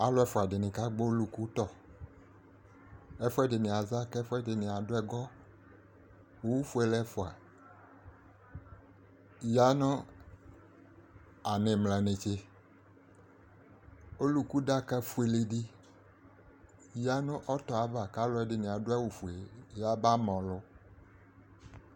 Alʋ ɛfʋadɩnɩ kagbɔ ɔlʋkutɔ: ɛfʋɛdɩnɩ aza k'ɛfʋɛdɩnɩ adʋ ɛgɔ Owufuele ɛfʋa ya nʋ an'ɩmla netse ; ɔlʋkudaka fueledɩ yǝ nʋ ɔtɔɛ ava , k'alʋɛdɩnɩ adʋ awʋfue yaba ma ɔlʋ